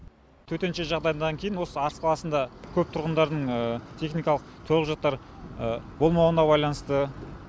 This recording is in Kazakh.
төтенше жағдайдан кейін осы арыс қаласында көп тұрғындардың техникалық төлқұжаттары болмауына байланысты